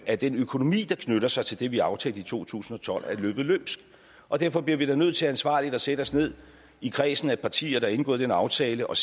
at den økonomi der knytter sig til det vi aftalte i to tusind og tolv er løbet løbsk og derfor bliver vi da nødt til ansvarligt at sætte os ned i kredsen af partier der har indgået den aftale og